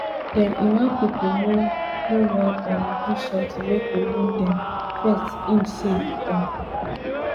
dem [iran pipo] no no wan um do sometin wey go wound dem first im say um